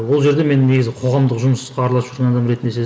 ол жерде мен негізгі қоғамдық жұмысқа араласып жүрген адам ретінде